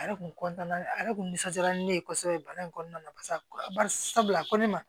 A yɛrɛ kun a yɛrɛ kun nisɔndiyara ni ne ye kosɛbɛ baara in kɔnɔna na barisabula ko ne ma